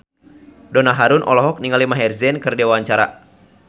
Donna Harun olohok ningali Maher Zein keur diwawancara